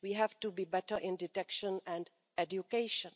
we have to be better in detection and education.